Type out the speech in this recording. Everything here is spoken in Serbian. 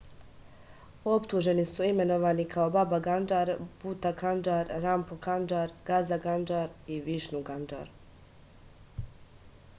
optuženi su imenovani kao baba kandžar buta kandžar rampro kandžar gaza kandžar i višnu kandžar